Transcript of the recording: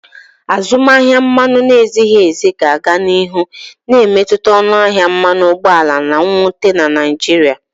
Azụmaahịa mmanụ na-ezighi ezi ga-aga n'ihu na-emetụta ọnụ ahịa mmanụ ụgbọala na nnweta na Naịjirịa.